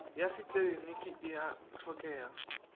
ya setleliniki e a hlokega